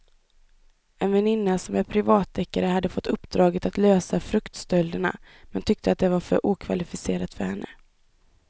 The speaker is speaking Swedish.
En väninna som är privatdeckare hade fått uppdraget att lösa fruktstölderna men tyckte att det var för okvalificerat för henne.